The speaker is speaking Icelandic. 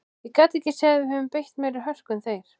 Ég gat ekki séð að við höfum beitt meiri hörku en þeir.